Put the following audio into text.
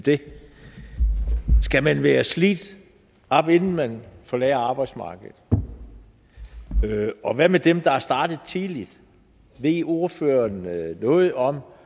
det skal man være slidt op inden man forlader arbejdsmarkedet og hvad med dem der er startet tidligt ved ordføreren noget om